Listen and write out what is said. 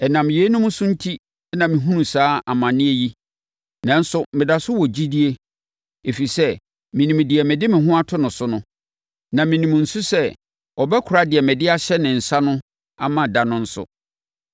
Ɛnam yeinom so enti na mehunu saa amaneɛ yi. Nanso, meda so wɔ gyidie, ɛfiri sɛ, menim deɛ mede me ho to no so no, na menim nso sɛ ɔbɛkora deɛ mede ahyɛ ne nsa no ama da no nso.